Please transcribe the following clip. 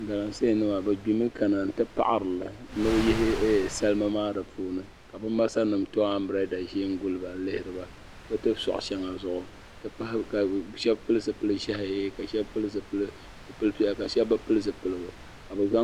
Galamse nima bi gbimi. kana ti paɣirili ni bi yihi salima maa di puuni kabi masanim to ambirela zin guliba nlihiriba bi ti sɔɣi shaŋa zuɣu n ti pahi ka shab pili zipili zɛhi ka shabi pili zipili pɛla ka shab bi pili zipiligu ka bi zaŋ.